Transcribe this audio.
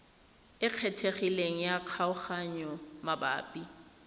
e kgethegileng ya kgaoganyo mabapi